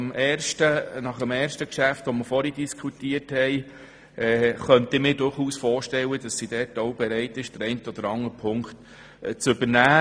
Nach dem Geschäft, das wir vorher diskutiert haben, könnte ich mir vorstellen, dass sie bereit ist, die eine oder andere Auflage zu übernehmen.